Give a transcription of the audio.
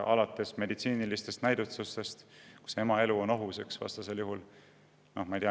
Alates meditsiinilistest näidustustest, kus ema elu on ohus.